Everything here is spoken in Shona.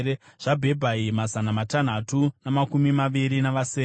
zvaBhebhai, mazana matanhatu namakumi maviri navasere;